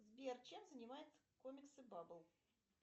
сбер чем занимаются комиксы бабл